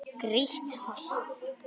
Grýtt holt.